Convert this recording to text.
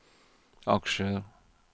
aksjer